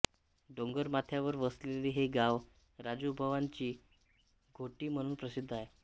डोंगरमाथ्यावर वसलेले हे गाव राजुबंवाची घोटी म्हणून प्रसिद्ध आहे